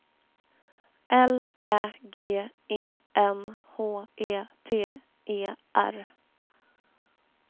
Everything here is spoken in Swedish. L Ä G E N H E T E R